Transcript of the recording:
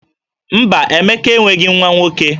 Mba, Emeka enweghi nwa nwoke